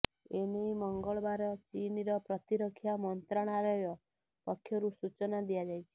ଏନେଇ ମଙ୍ଗଳବାର ଚୀନର ପ୍ରତିରକ୍ଷା ମନ୍ତ୍ରଣାଳୟ ପକ୍ଷରୁ ସୂଚନା ଦିଆଯାଇଛି